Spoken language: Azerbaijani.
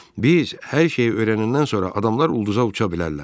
Biz hər şeyi öyrənəndən sonra adamlar ulduza uça bilərlər.